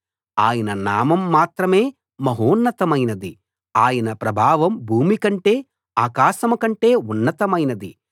ఆయన నామం మాత్రమే మహోన్నతమైనది ఆయన ప్రభావం భూమి కంటే ఆకాశం కంటే ఉన్నతమైనది